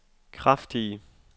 kraftige